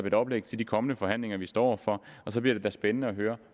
et oplæg til de kommende forhandlinger vi står over for og så bliver det da spændende at høre